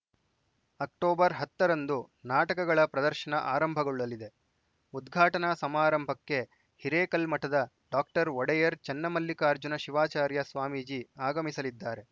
October ಹತ್ತರಂದು ನಾಟಕಗಳ ಪ್ರದರ್ಶನ ಆರಂಭಗೊಳ್ಳಲಿದೆ ಉದ್ಘಾಟನಾ ಸಮಾರಂಭಕ್ಕೆ ಹಿರೇಕಲ್ಮಠದ ಡಾಕ್ಟರ್ ಒಡೆಯರ್‌ ಚನ್ನಮಲ್ಲಿಕಾರ್ಜುನ ಶಿವಾಚಾರ್ಯ ಸ್ವಾಮೀಜಿ ಅಗಮಿಸಲಿದ್ದಾರೆ